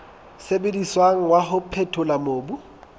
sebediswang wa ho phethola mobu